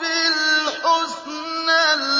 بِالْحُسْنَى